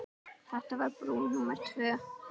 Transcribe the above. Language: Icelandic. Þetta var brú númer tvö.